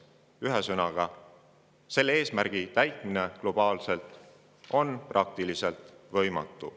Ühesõnaga, selle eesmärgi täitmine globaalselt on praktiliselt võimatu.